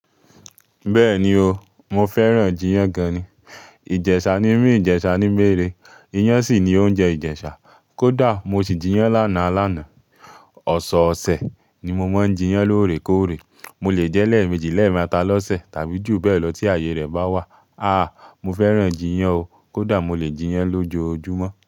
Bẹ́ẹ̀ni oo, mo fẹ́ràn-an jiyán gan ni. Ìjẹṣa ni mí, Ìjẹṣa ni mẹ́re. Iyán sì ni oúnjẹ Ìjẹṣa. Kódà mo sì jiyán lánàá alánàá. Ọ̀sọ̀ọ̀sẹ̀ ni mo máa ń jiyán lóorekóòre. Mo lè jẹ́ lẹ́ẹ̀mejì, lẹ́ẹ̀mẹ́ta lọ́sẹ̀ tàbí jù bẹ́ẹ̀ lọ tí àyè rẹ̀ bá wà. Àhh, mo fẹ́ràn-an jiyán o. Kódà mo lè jiyán lójoojúmọ́